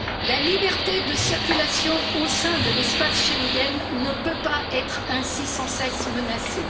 La liberté de circulation au sein de l'espace Schengen ne peut pas être ainsi sans cesse menacée.